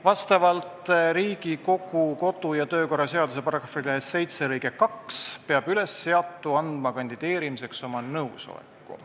Vastavalt Riigikogu kodu- ja töökorra seaduse § 7 lõikele 2 peab ülesseatu andma kandideerimiseks oma nõusoleku.